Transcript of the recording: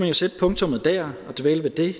jo sætte punktummet dér og dvæle ved det